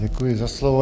Děkuji za slovo.